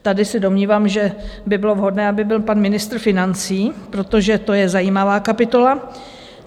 Tady se domnívám, že by bylo vhodné, aby byl pan ministr financí, protože to je zajímavá kapitola.